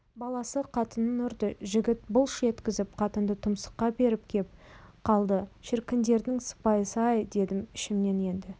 баласы қатынын ұрды жігіт былш еткізіп қатынды тұмсыққа періп кеп қалды шіркіндердің сыпайысы-ай дедім ішімнен енді